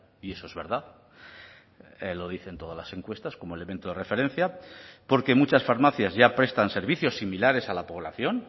y eso es verdad lo dicen todas las encuestas como elemento de referencia porque muchas farmacias ya prestan servicios similares a la población